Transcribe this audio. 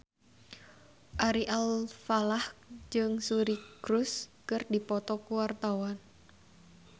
Ari Alfalah jeung Suri Cruise keur dipoto ku wartawan